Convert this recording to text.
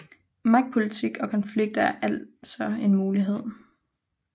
Magtpolitik og konflikt er altså en mulighed